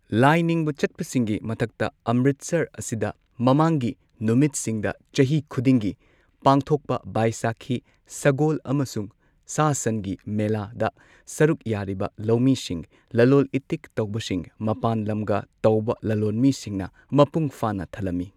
ꯂꯥꯏ ꯅꯤꯡꯕ ꯆꯠꯄꯁꯤꯡꯒꯤ ꯃꯊꯛꯇ, ꯑꯃꯔꯤꯠꯁꯔ ꯑꯁꯤꯗ ꯃꯃꯥꯡꯒꯤ ꯅꯨꯃꯤꯠꯁꯤꯡꯗ ꯆꯍꯤ ꯈꯨꯗꯤꯡꯒꯤ ꯄꯥꯡꯊꯣꯛꯄ ꯕꯥꯢꯁꯥꯈꯤ ꯁꯒꯣꯜ ꯑꯃꯁꯨꯡ ꯁꯥ ꯁꯟꯒꯤ ꯃꯦꯂꯥꯗ ꯁꯔꯨꯛ ꯌꯥꯔꯤꯕ ꯂꯧꯃꯤꯁꯤꯡ, ꯂꯂꯣꯜ ꯢꯇꯤꯛ ꯇꯧꯕꯁꯤꯡ, ꯃꯄꯥꯟ ꯂꯝꯒ ꯇꯧꯕ ꯂꯂꯣꯟꯃꯤꯁꯤꯡꯅ ꯃꯄꯨꯡ ꯐꯥꯅ ꯊꯜꯂꯝꯃꯤ꯫